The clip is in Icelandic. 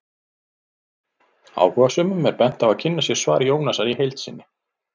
Áhugasömum er bent á að kynna sér svar Jónasar í heild sinni.